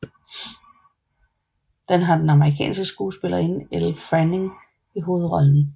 Den har den amerikanske skuespillerinde Elle Fanning i hovedrollen